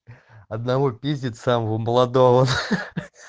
одного пиздит самого молодого ха ха